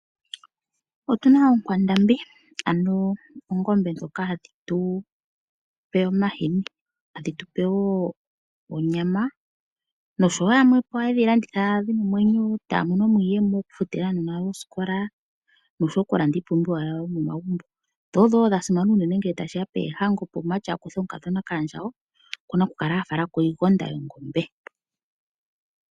Otuna oonkwandambi ano oongombe dhoka hadhi tupe omahini ,hadhi tupe wo onyama noshowo yamwe po ohaye dhi landitha opo ya mone iiyemo yo ya vule okufutila aanona oosikola noshowo okulanda iipumbiwa yomaomagumbo dho odho wo dha simana ngele tashi ya poohango ,uuna omumati taka tala ko omukadhona kaandjawo okuna okukala a fala ko iigonda yongombe.